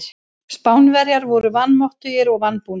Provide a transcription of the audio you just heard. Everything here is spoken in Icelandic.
Spánverjar voru vanmáttugir og vanbúnir.